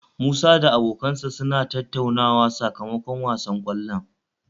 Musa da abokansa suna tattauna sakamakon wasan kwallon